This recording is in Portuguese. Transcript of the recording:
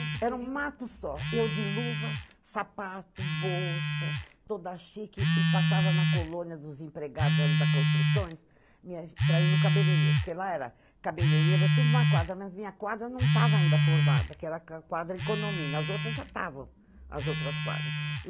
Era um mato só, eu de luva, sapato, bolsa, toda chique, e passava na colônia dos empregados ali da construções, para ir no cabeleireiro, porque lá era, cabeleireiro era tudo em uma quadra, mas minha quadra não estava ainda formada, que era a quadra, as outras já estavam, as outras quadras.